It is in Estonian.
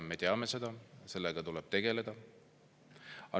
Me teame seda, sellega tuleb tegeleda.